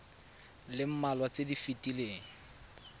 le mmalwa tse di fetileng